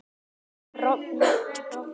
hún rofni